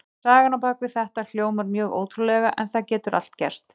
Sagan á bak við þetta hljómar mjög ótrúlega en það getur allt gerst.